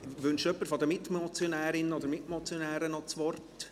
Wünscht jemand von den Mitmotionärinnen oder Mitmotionären noch das Wort?